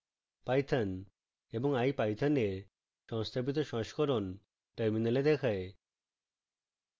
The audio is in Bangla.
python এবং ipython এর সংস্থাপিত সংস্করণ terminal দেখায়